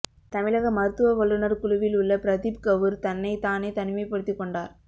தமிழக மருத்துவ வல்லுநர் குழுவில் உள்ள பிரப்தீப் கவுர் தன்னை தானே தனிமைப்படுத்தி கொண்டார்